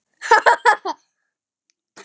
Ha ha ha!